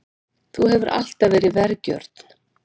Þú hefur alltaf verið vergjörn.